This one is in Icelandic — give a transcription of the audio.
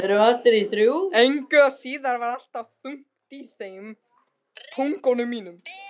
Engu að síður var alltaf þungt í þeim.